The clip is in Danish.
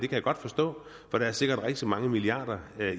jeg godt forstå for der er sikkert rigtig mange milliarder